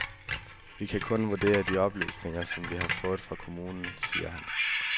Vi kan kun vurdere de oplysninger, som vi har fået fra kommunen, siger han.